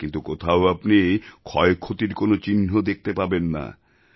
কিন্তু কোথাও আপনি ক্ষয়ক্ষতির কোনো চিহ্ন দেখতে পাবেন না